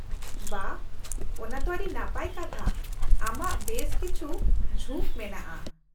-ᱵᱟᱦ, ᱚᱱᱟ ᱛᱚ ᱟᱹᱰᱤ ᱱᱟᱯᱟᱭ ᱠᱟᱛᱷᱟ, ᱟᱢᱟᱜ ᱵᱮᱥ ᱠᱤᱪᱷᱩ ᱡᱷᱩᱠ ᱢᱮᱱᱟᱜᱼᱟ ᱾